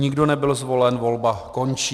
Nikdo nebyl zvolen, volba končí.